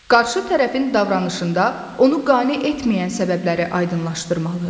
Qarşı tərəfin davranışında onu qane etməyən səbəbləri aydınlaşdırmalı.